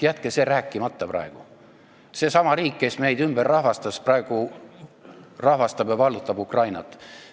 Jätke sellest rääkimata, sest seesama riik, kes meid ümberrahvastas, rahvastab ja vallutab praegu Ukrainat.